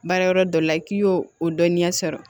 Baara yɔrɔ dɔ la k'i y'o o dɔnniya sɔrɔ